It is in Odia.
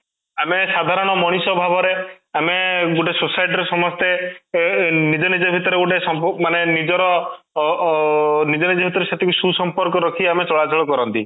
ଆମେ ସାଧାରଣ ମଣିଷ ଭାବରେ ଆମେ ଗୋଟେ society ର ସମସ୍ତେ ନିଜ ନିଜ ଭିତରେ ଗୋଟେ ସମ୍ଭବ ମାନେ ନିଜର ଅଂ ଓ ନିଜ ନିଜ ଭିତରେ ସେତିକି ସୁସମ୍ପର୍କ ରଖି ଆମେ ଚଳାଚଳ କରନ୍ତି